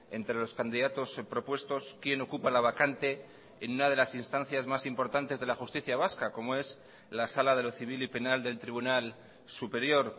entre los candidatos propuestos quién ocupa la vacante en una de las instancias más importantes de la justicia vasca como es la sala de lo civil y penal del tribunal superior